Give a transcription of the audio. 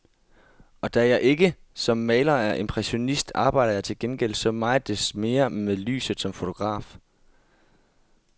Og da jeg som maler ikke er impressionist, arbejder jeg til gengæld så meget desto mere med lyset som fotograf.